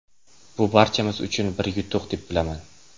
Bu barchamiz uchun bir yutuq, deb bilaman.